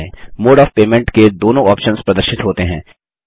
mode of payment के दोनों options प्रदर्शित होते हैं